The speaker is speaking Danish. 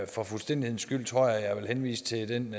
for fuldstændighedens skyld tror jeg at jeg vil henvise til den